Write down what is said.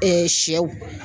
sɛw